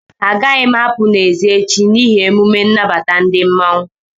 A gaghị m apụ n'èzi echi n'hi emume nnabata ndị mmanwu